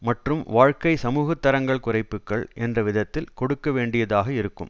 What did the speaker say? மற்றும் வாழ்க்கை சமூகத்தரங்கள் குறைப்புக்கள் என்ற விதத்தில் கொடுக்க வேண்டியதாக இருக்கும்